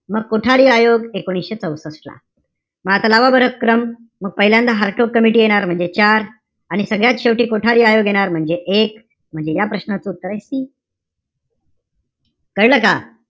मग कोठारी आयोग एकोणीशे चौसष्ट ला. म आता लावा बरं क्रम. मग पहिल्यांदा हारटोक कमिटी येणार. म्हणजे चार. आणि सगळ्यात शेवटी कोठारी आयोग येणार. म्हणजे एक. म्हणजे या प्रश्नाचं उत्तर आहे C. कळलं का?